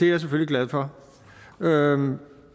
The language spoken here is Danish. jeg selvfølgelig glad for hvad er